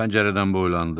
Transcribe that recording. Pəncərədən boylandı.